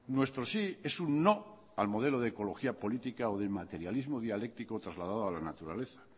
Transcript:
nuestro sí es un no al modelo de ecología política o de materialismo dialéctico trasladado a la naturaleza